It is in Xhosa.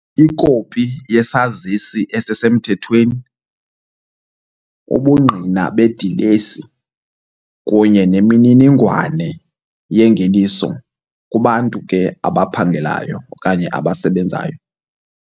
Ikopi yesazisi esisemthethweni, ubungqina bedilesi kunye nemininingwane yengeniso kubantu ke abaphangelayo okanye abasebenzayo.